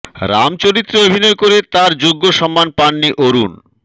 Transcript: রাম চরিত্রে অভিনয় করে তার যোগ্য সম্মান পাননি অরুণ